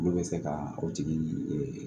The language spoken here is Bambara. Olu bɛ se ka o tigi